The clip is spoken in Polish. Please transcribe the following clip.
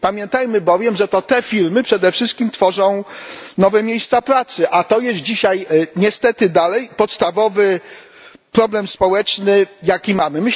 Pamiętajmy bowiem, że to te firmy przede wszystkim tworzą nowe miejsca pracy, a to jest dzisiaj niestety dalej podstawowy problem społeczny, jaki mamy.